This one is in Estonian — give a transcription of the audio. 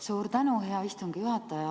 Suur tänu, hea istungi juhataja!